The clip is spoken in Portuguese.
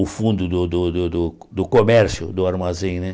o fundo do do do do do comércio, do armazém né.